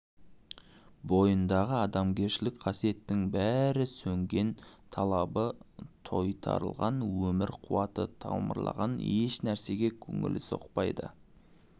бойындағы адамгершілік қасиеттің бәрі сөнген талабы тойтарылған өмір қуаты томырылған ешнәрсеге көңілі соқпайды